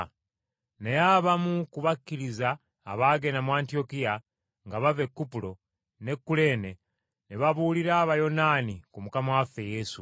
Naye, abamu ku bakkiriza abaagenda mu Antiyokiya nga bava e Kupulo n’e Kuleene ne babuulira Abayonaani ku Mukama waffe Yesu.